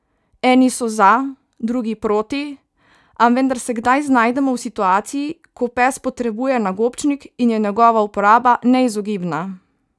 Eni so za, drugi proti, a vendar se kdaj znajdemo v situaciji, ko pes potrebuje nagobčnik in je njegova uporaba neizogibna.